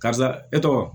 Karisa e tɔgɔ